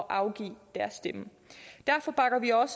afgive deres stemme derfor bakker vi op